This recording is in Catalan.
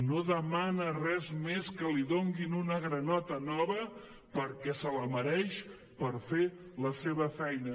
no demana res més que li donin una granota nova perquè se la mereix per fer la seva feina